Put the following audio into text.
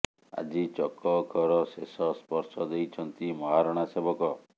ଆଜି ଚକ ଅଖର ଶେଷ ସ୍ପର୍ଶ ଦେଇଛନ୍ତି ମହାରଣା ସେବକ